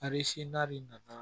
A bɛ n'a de nana